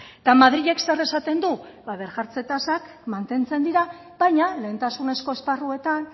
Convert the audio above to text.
madrilek zer esaten du tasak mantentzen dira baina lehentasunezko esparruetan